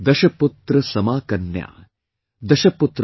दशपुत्रसमाकन्या, दशपुत्रान् प्रवर्धयन्